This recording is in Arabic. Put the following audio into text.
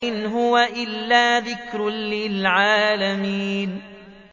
إِنْ هُوَ إِلَّا ذِكْرٌ لِّلْعَالَمِينَ